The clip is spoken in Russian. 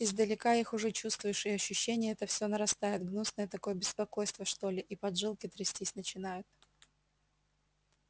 издалека их уже чувствуешь и ощущение это все нарастает гнусное такое беспокойство что ли и поджилки трястись начинают